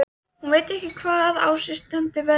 Hún veit ekki hvaðan á sig stendur veðrið.